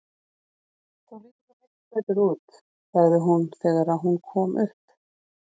Þú lítur svo miklu betur út, sagði hún þegar hún kom upp.